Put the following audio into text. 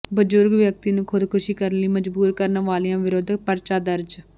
ਬਜ਼ੁਰਗ ਵਿਅਕਤੀ ਨੂੰ ਖੁਦਕੁਸ਼ੀ ਕਰਨ ਲਈ ਮਜ਼ਬੂਰ ਕਰਨ ਵਾਲਿਆਂ ਵਿਰੁੱਧ ਪਰਚਾ ਦਰਜ